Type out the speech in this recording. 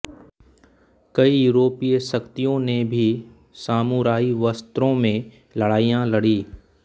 कई यूरोपीय शक्तियों ने भी सामुराई वस्त्रों में लड़ाईया लड़ी